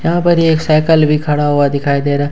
यहां पर एक साइकल भी खड़ा हुआ दिखाई दे रहा है।